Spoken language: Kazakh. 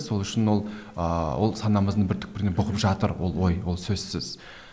сол үшін ол ыыы ол санамыздың бір түкпірінде бұғып жатыр ол ой ол сөзсіз